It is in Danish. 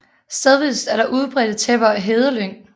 Stedvist er der udbredte tæpper af hedelyng